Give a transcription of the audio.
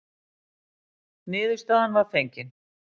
Niðurstaðan var fengin.